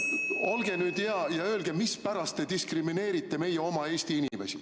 Olge hea ja öelge, mispärast te diskrimineerite meie oma Eesti inimesi.